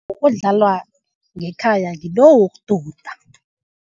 Odlalwa ngekhaya ngilo wokududa.